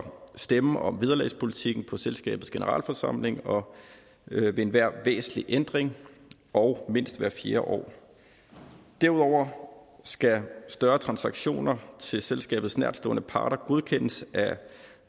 stemme om vederlagspolitikken på selskabets generalforsamling ved enhver væsentlig ændring og mindst hvert fjerde år derudover skal større transaktioner til selskabets nærtstående parter godkendes af